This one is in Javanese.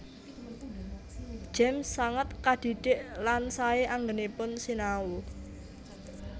James sanget kadhidhik lan saé anggènipun sinau